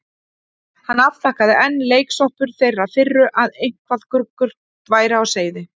Hann afþakkaði, enn leiksoppur þeirrar firru að eitthvað gruggugt væri á seyði.